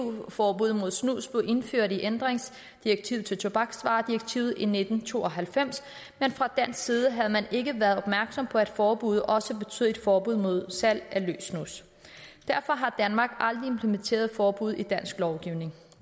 forbud mod snus blev indført i ændringsdirektivet til tobaksvaredirektivet i nitten to og halvfems men fra dansk side havde man ikke været opmærksom på at forbuddet også betød et forbud mod salg af løs snus derfor har danmark aldrig implementeret forbuddet i dansk lovgivning